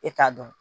E t'a dɔn